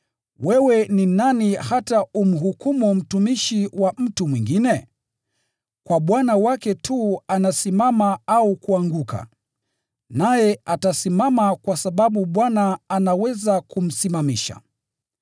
Wewe ni nani hata umhukumu mtumishi wa mtu mwingine? Kwa bwana wake tu anasimama au kuanguka. Naye atasimama kwa sababu Bwana anaweza kumsimamisha.